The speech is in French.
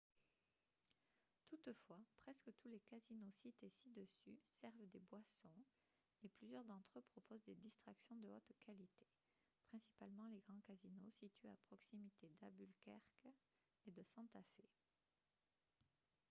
toutefois presque tous les casinos cités ci-dessus servent des boissons et plusieurs d'entre eux proposent des distractions de haute qualité principalement les grands casinos situés à proximité d'albuquerque et de santa fe